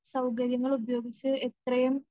സൗകര്യങ്ങളുപയോഗിച്ച് ഇത്രയും